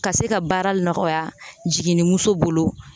Ka se ka baara nɔgɔya jiginnimuso bolo